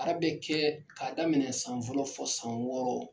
ara bɛ kɛ ka daminɛ san fɔlɔ fɔ san wɔɔrɔ.